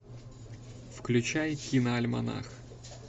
включай киноальманах